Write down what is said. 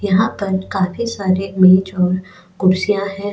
यहां पर काफी सारे मेज और कुर्सियां हैं.